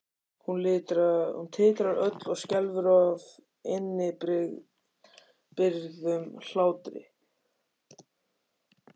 Hún titrar öll og skelfur af innibyrgðum hlátri.